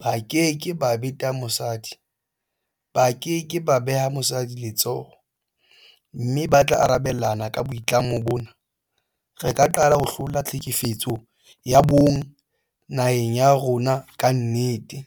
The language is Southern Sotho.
ba keke ba beta mosadi, ba ke ke ba beha mosadi letsoho mme ba tla arabelana ka boitlamo bona, re ka qala ho hlola tlhekefetso ya bong naheng ya rona ka nnete.